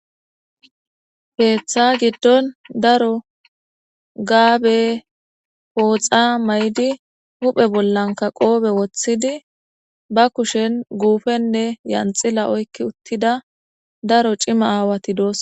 Keththa giidon daaro gaabe pooxa mayidi huphphe bollanka qoppe woththhidi ba kushshen guppenne yanxxila oykki uttida daaro cimma awati dossona.